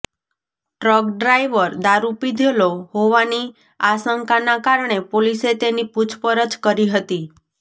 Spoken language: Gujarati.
ટ્રક ડ્રાઈવર દારૂ પીધેલો હોવાની આશંકાના કારણે પોલીસે તેની પૂછપરછ કરી હતી